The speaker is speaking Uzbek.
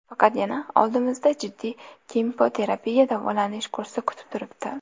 Faqat yana oldimizda jiddiy kimyoterapiya davolanish kursi kutib turibdi.